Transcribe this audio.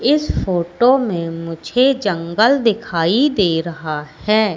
इस फोटो में मुझे जंगल दिखाई दे रहा है।